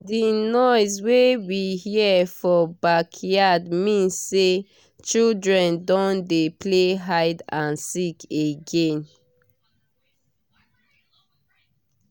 the noise wey we hear for backyard mean say children don dey play hide and seek again